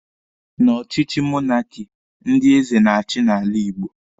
Na ọchịchị monaki, ndị eze na-achi n'ala Igbo.